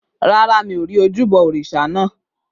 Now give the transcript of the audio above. Rárá, mi ò rí ojúbọ òrìṣà naa.